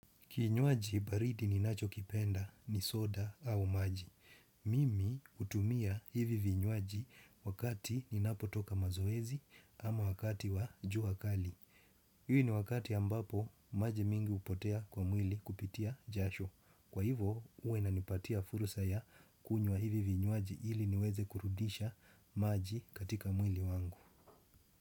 Kinywaji baridi ninachokipenda ni soda au maji. Mimi utumia hivi vinywaji wakati ninapotoka mazoezi ama wakati wa jua akali. Hik ni wakati ambapo maji mingi upotea kwa mwili kupitia jasho. Kwa hivo huwa inanipatia fursa ya kunywa hivi vinywaji hili niweze kurudisha maji katika mwili wangu.